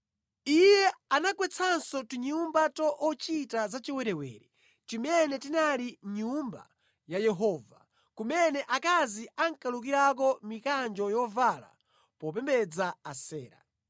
Iye anagwetsanso tinyumba ta ochita zachiwerewere, timene tinali mʼNyumba ya Yehova, kumene akazi ankalukirako mikanjo yovala popembedza Asera.